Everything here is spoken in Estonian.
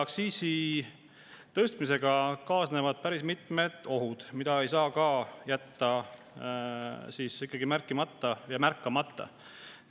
Aktsiisi tõstmisega kaasnevad päris mitmed ohud, mida ei saa ikkagi jätta märkimata ja märkamata.